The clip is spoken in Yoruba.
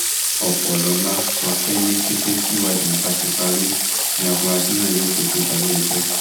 ọpọlọlá sọ pé ní kété tíwádìí bá ti parí ni àfúráṣí náà yóò fojú balẹẹjọ